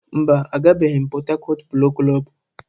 Mba, agabeghi m Pọt Hakọt Polo Klọb.